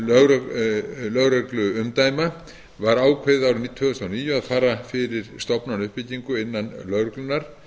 fækkun lögregluumdæma var ákveðið árið tvö þúsund og níu að fara fyrir stofnanauppbyggingu innan lögreglunnar